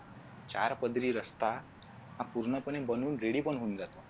चार पदरी रस्ता हा पूर्णपणे बनून ready पण होऊन जातो.